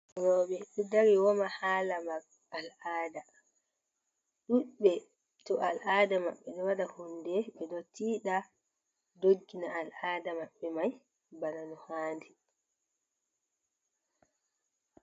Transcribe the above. Robe do dari woma halamar al'aada, ɗudbe to al'aada mabbe do wada hunde be do tiida doggina al'aada mabbe mai bana no hadi.